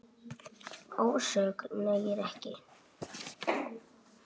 Ásökun nægir ekki.